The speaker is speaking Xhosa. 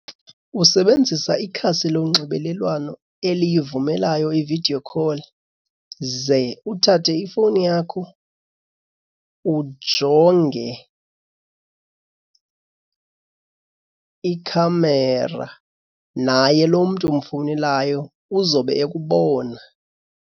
Usebenzisa ikhasi lonxibelelwano eliyivumelayo i-video call ze uthathe ifowuni yakho ujonge ikhamera, naye lo mntu umfowunelayo uzobe ekubona.